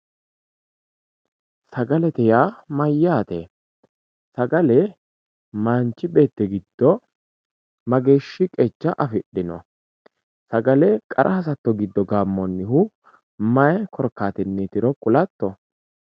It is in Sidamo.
sagalete yaa mayyaate sagale manchi beetti giddo mageeshshi qeecha afidhino sagale qara hasatto giddo beenkoonnihu mayi korkaatinniitiro kulatto